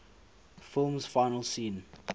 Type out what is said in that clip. film's final scene